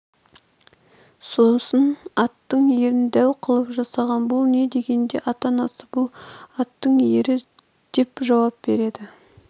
сосын аттың ерін дәу қылып жасаған бұл не дегенде ата-анасы бұл аттың ері депжауап береді